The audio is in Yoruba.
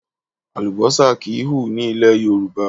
Àlùbọ́sà kì í hù ní ilẹ̀ Yorùbá.